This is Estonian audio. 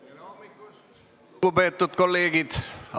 Tere hommikust, lugupeetud kolleegid!